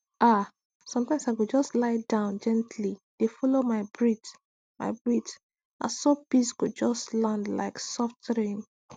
ah sometimes i go just lie down gently dey follow my breath my breath na so peace go just land like soft rain